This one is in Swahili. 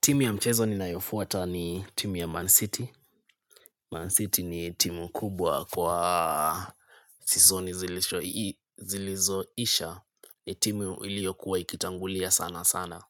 Timu ya mchezo ninayofuata ni timu ya Man City. Man City ni timu kubwa kwa season zilishoi zilizoisha ni timu iliokuwa ikitangulia sana sana.